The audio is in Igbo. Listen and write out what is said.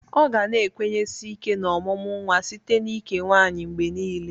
Ọ ga na-ekwenyesi ike n'ọmụmụ nwa site n'ike nwaanyị mgbe niile.